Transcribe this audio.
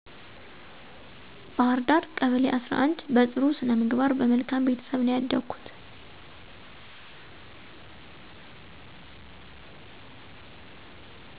ባህርዳ ቀበሌ11 በጥሩ ስነምግባር በመልካም ቤተሰብ ነው ያደኩት